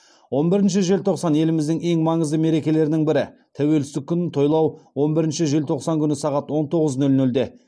он бірінші желтоқсан еліміздің ең маңызды мерекелерінің бірі тәуелсіздік күнін тойлау он бірінші желтоқсан күні сағат он тоғыз нөл нөлде